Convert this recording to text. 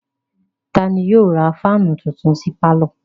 Ta ni yóò ra fáánù tuntun sí pálọ̀?